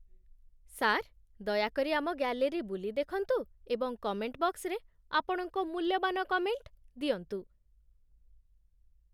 sir, ଦୟାକରି ଆମ gallery ବୁଲି ଦେଖନ୍ତୁ ଏବଂ କମେଣ୍ଟ ବକ୍ସରେ ଆପଣଙ୍କ ମୂଲ୍ୟବାନ କମେଣ୍ଟ ଦିଅନ୍ତୁ